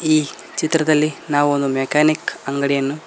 ಈ ಚಿತ್ರದಲ್ಲಿ ನಾವು ಒಂದು ಮೆಕ್ಯಾನಿಕ್ ಅಂಗಡಿಯನ್ನು--